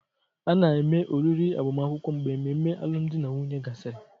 A na-eme oriri agbamakwụkwọ mgbe ememe alụmdi na nwunye gasịrị